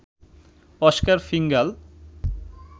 Oscar ফিঙ্গাল